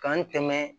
K'an dɛmɛ